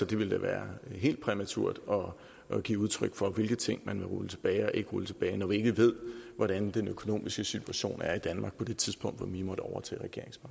det ville da være helt præmaturt at give udtryk for hvilke ting man ville rulle tilbage og ikke rulle tilbage når vi ikke ved hvordan den økonomiske situation er i danmark på det tidspunkt hvor vi måtte overtage